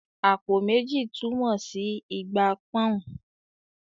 "Àpò méjì" túmọ̀ sí ìgbà pọ́n-ọ́n